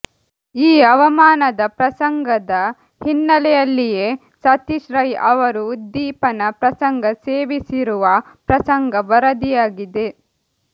ಈ ಅವಮಾನದ ಪ್ರಸಂಗದ ಹಿನ್ನೆಲೆಯಲ್ಲಿಯೇ ಸತೀಶ್ ರೈ ಅವರು ಉದ್ದೀಪನ ಪ್ರಸಂಗ ಸೇವಿಸಿರುವ ಪ್ರಸಂಗ ವರದಿಯಾಗಿದೆ